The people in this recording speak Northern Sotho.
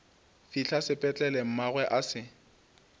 fihla sepetlele mmagwe a se